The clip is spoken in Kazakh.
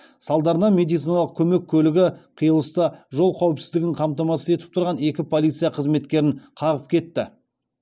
салдарынан медициналық көмек көлігі қиылыста жол қауіпсіздігін қамтамасыз етіп тұрған екі полиция қызметкерін қағып кетті